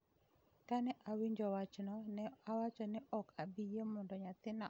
Kane awinjo wachno, ne awacho ni ok abi yie mondo nyathina omi chanjo.